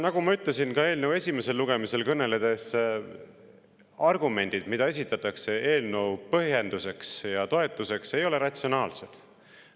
Nagu ma ütlesin ka eelnõu esimesel lugemisel kõneldes, argumendid, mida esitatakse eelnõu põhjenduseks ja toetuseks, ei ole ratsionaalsed.